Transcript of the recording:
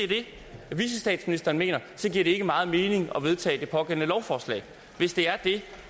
vicestatsministeren mener så giver det ikke meget mening at vedtage det pågældende lovforslag hvis det er